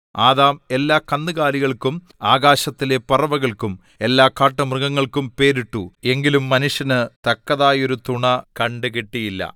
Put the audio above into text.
Adam എല്ലാകന്നുകാലികൾക്കും ആകാശത്തിലെ പറവകൾക്കും എല്ലാ കാട്ടുമൃഗങ്ങൾക്കും പേരിട്ടു എങ്കിലും മനുഷ്യന് തക്കതായൊരു തുണ കണ്ടുകിട്ടിയില്ല